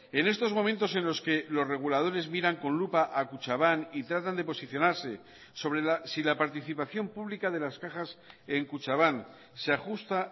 en estos momentos en los que los reguladores miran con lupa a kutxabank y tratan de posicionarse sobre si la participación pública de las cajas en kutxabank se ajusta